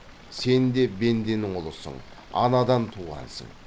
сен де бенденің ұлысың анадан туғансың